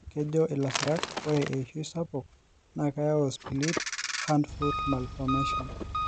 kejo ilasirak ore eishoi sapuk naa keyau Split hand foot malformation